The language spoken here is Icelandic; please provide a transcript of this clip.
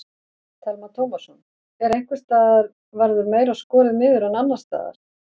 Telma Tómasson: En einhvers staðar verður meira skorið niður en annars staðar?